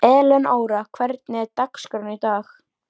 Elenóra, hvernig er dagskráin í dag?